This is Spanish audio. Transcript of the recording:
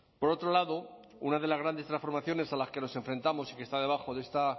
por otro lado una de las grandes transformaciones a las que nos enfrentamos y que está debajo de esta